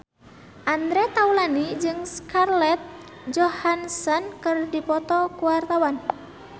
Andre Taulany jeung Scarlett Johansson keur dipoto ku wartawan